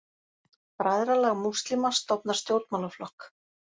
Bræðralag múslíma stofnar stjórnmálaflokk